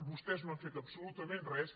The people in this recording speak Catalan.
vostès no han fet absolutament res